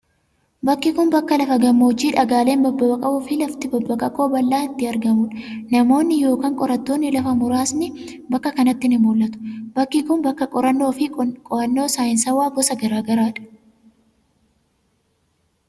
Bakki kun, bakka lafa gammoojjii dhagaaleen babbaqaqoo fi lafti babbaqaqoo bal'aan itti argamuu dha. Namoonni yokin qorattoonni lafaa muraasni bakka kanatti ni mul'atu. Bakki kun, bakka qorannoo fi qo'annoo saayinsawaa gosa garaa garaa dha.